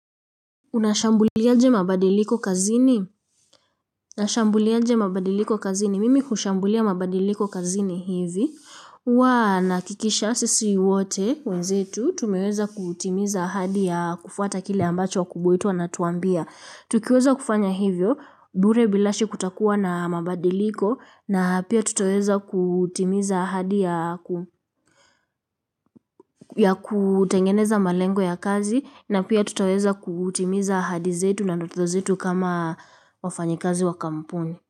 Unashambuliaje mabadiliko kazini? Unashambuliaje mabadiliko kazini. Mimi hushambulia mabadiliko kazini hivi. Huwa nahakikisha sisi wote wenzetu. Tumeweza kutimiza ahadi ya kufuata kile ambacho wakubwa wetu wanatuambia. Tukiweza kufanya hivyo. Bure bilashe kutakuwa na mabadiliko. Na pia tutaweza kutimiza ahadi ya kutengeneza malengo ya kazi na pia tutaweza kutimiza ahadi zetu na ndoto zetu kama wafanyikazi wa kampuni.